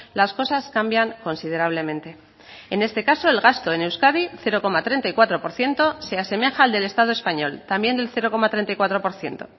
las cosas cambian considerablemente en este caso el gasto en euskadi cero coma treinta y cuatro por ciento se asemeja al del estado español también del cero coma treinta y cuatro por ciento